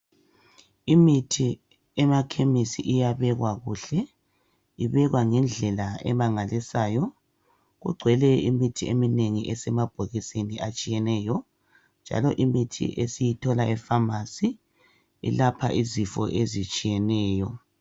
Imithi emakhemesi iyabekwa kuhle ibekwa ngendlela emangalisayo kugcwele imithi eminengi esemabhokisini atshiyeneyo njalo imithi esiyithola efamasi ilapha izifo ezitshiyeneyo.